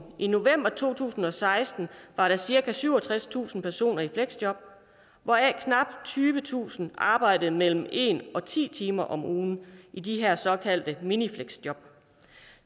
i november to tusind og seksten var der cirka syvogtredstusind personer i fleksjob hvoraf knap tyvetusind arbejdede mellem en og ti timer om ugen i de her såkaldte minifleksjob